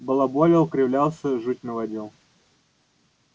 балаболил кривлялся жуть наводил